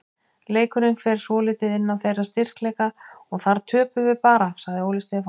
Leikurinn fer svolítið inn á þeirra styrkleika og þar töpum við bara, sagði Óli Stefán.